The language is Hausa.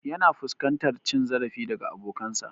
Yana fuskantar cin zarafi daga bokansa